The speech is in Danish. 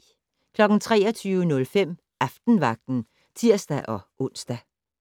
23:05: Aftenvagten (tir-ons)